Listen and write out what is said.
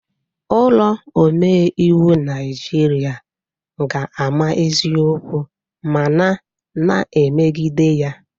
Ụlọ omeiwu Naijiria ga-ama eziokwu ma na na-emegide ya